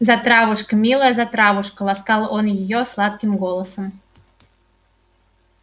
затравушка милая затравушка ласкал он её сладким голосом